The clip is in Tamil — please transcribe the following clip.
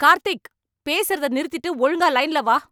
கார்த்திக்! பேசறத நிறுத்திட்டு ஒழுங்கா லைன்ல வா.